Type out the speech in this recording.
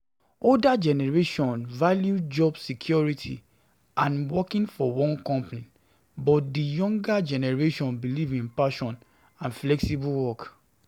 Older generation value job security and working for one company but di younger generation believe in passion and flexible work